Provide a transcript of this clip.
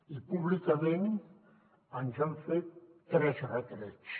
i públicament ens han fet tres retrets